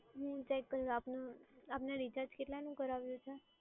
હું ચેક કરી આપનું, આપને રિચાર્જ કેટલાનું કરાવ્યું છે?